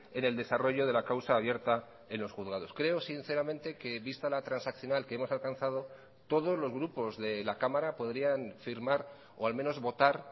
en el desarrollo de la causa abierta en los juzgados creo sinceramente que vista la transaccional que hemos alcanzado todos los grupos de la cámara podrían firmar o al menos votar